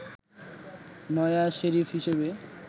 নয়া শেরিফ হিসেবে